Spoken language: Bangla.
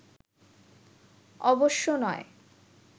অবশ্য নয়